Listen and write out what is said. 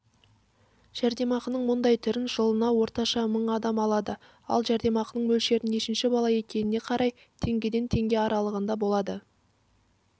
жәрдемақының мұндай түрін жылына орташа мың адам алады ал жәрдемақының мөлшері нешінші бала екеніне қарай теңгеден теңге аралығында болады